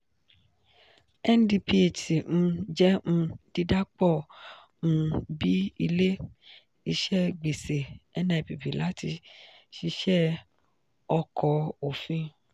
ndphc um jẹ́ um dídà pọ̀ um bíi ilé-iṣẹ́ gbèsè nipp láti ṣiṣẹ́ ọkọ̀ òfin